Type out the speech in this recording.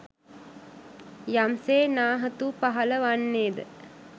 යම්සේ නාහතු පහළ වන්නේද